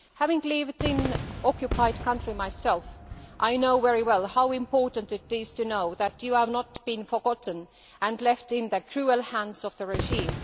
Having lived in an occupied country myself, I know very well how important it is to know that you have not been forgotten and left in the cruel hands of the regime.